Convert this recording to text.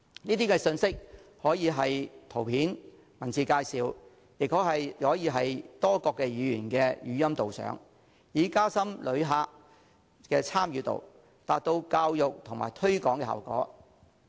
這些信息可以是圖片、文字介紹，也可以是多種語言的語音導賞，以加深旅客的參與度，達到教育和推廣的效果。